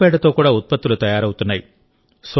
ఆవు పేడతో కూడా ఉత్పత్తులు తయారవుతున్నాయి